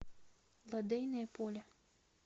лодейное поле